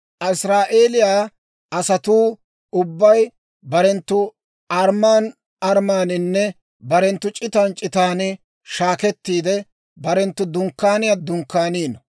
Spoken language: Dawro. Israa'eeliyaa asatuu ubbay barenttu armman armmaaninne barenttu c'itan c'itan shaakettiide, barenttu dunkkaaniyaa dunkkaanino.